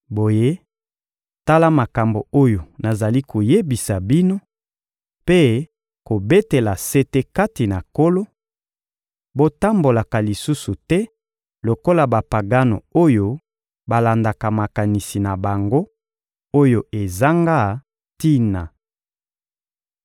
Boye, tala makambo oyo nazali koyebisa bino mpe kobetela sete kati na Nkolo: Botambolaka lisusu te lokola Bapagano oyo balandaka makanisi na bango, oyo ezanga tina.